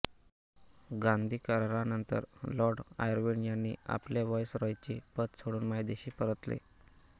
गांधी करारानंतर lord Irwin यांनी आपले व्हाईसरॉयचे पद सोडून मायदेशी परतले